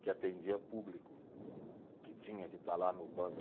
que atendia público, que tinha que estar lá no banco.